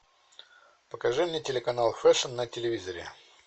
покажи мне телеканал фэшн на телевизоре